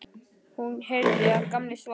Hún heyrði að Gamli svaf.